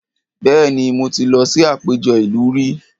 Bẹ́ẹ̀ni, mo ti lọ sí àpéjọ ìlú rí